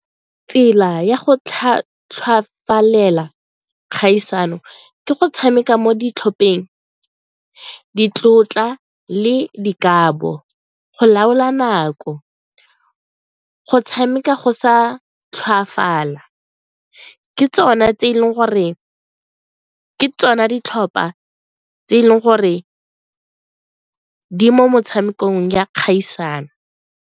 Tsela ya go kgaisano ke go tshameka mo ditlhopheng, ditlotla le dikabo, go laola nako, go tshameka go sa tlhoafala, ke tsona tse e leng gore ke tsona ditlhopha tse e leng gore di mo motshamekong ya kgaisano.